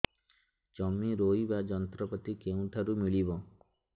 ଜମି ରୋଇବା ଯନ୍ତ୍ରପାତି କେଉଁଠାରୁ ମିଳିବ